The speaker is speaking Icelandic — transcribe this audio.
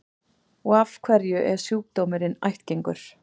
Og af hverju er sjúkdómurinn ættgengur?